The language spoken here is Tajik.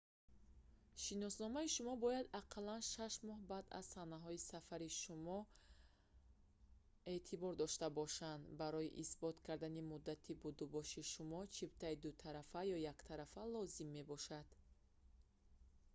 шиносномаи шумо бояд ақаллан 6 моҳ баъд аз санаҳои сафари шумо эътибор дошта бошад барои исбот кардани муддати будубоши шумо чиптаи дутарафа ё яктарафа лозим мебошад